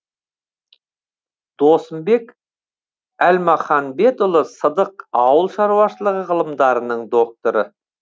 досымбек әлмаханбетұлы сыдық ауыл шаруашылығы ғылымдарының докторы